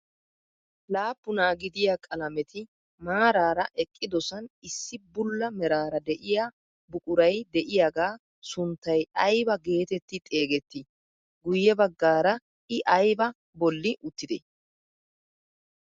Laappunaa gidiyaa qalameti maarara eqqidosan issi bulla meraara de'iyaa buquray de'iyaagaa sunttay aybaa getetti xeegettii? Guye baggaara i aybaa bolli uttidee?